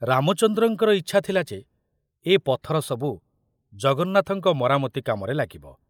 ରାମଚନ୍ଦ୍ରଙ୍କର ଇଚ୍ଛା ଥିଲା ଯେ ଏ ପଥର ସବୁ ଜଗନ୍ନାଥଙ୍କ ମରାମତି କାମରେ ଲାଗିବ।